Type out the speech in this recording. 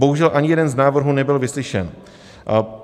Bohužel ani jeden z návrhů nebyl vyslyšen.